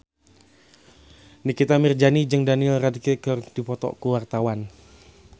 Nikita Mirzani jeung Daniel Radcliffe keur dipoto ku wartawan